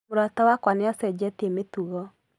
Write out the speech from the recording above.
Mũrata wakwa nĩ acenjetie mĩtugo